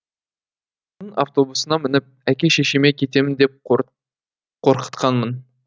автобусына мініп әке шешеме кетемін деп қорқытқанмын